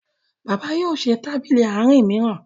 bàbá yóò ṣe Tábìlì Àárín míràn